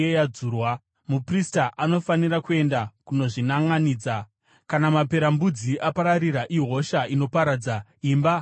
muprista anofanira kuenda kunozvinanʼanidza. Kana maperembudzi apararira ihosha inoparadza, imba haina kuchena.